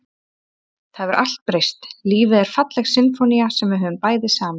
Það hefur allt breyst, lífið er falleg sinfónía sem við höfum bæði samið.